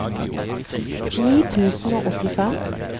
ni tusen og åttifem